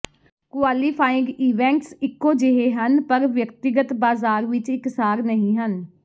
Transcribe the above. qualifying events ਇਕੋ ਜਿਹੇ ਹਨ ਪਰ ਵਿਅਕਤੀਗਤ ਬਾਜ਼ਾਰ ਵਿਚ ਇਕਸਾਰ ਨਹੀਂ ਹਨ